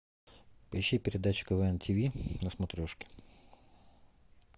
поищи передачу квн тв на смотрешке